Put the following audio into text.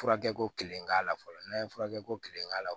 Furakɛ ko kelen k'a la fɔlɔ n'a ye furakɛ ko kelen k'a la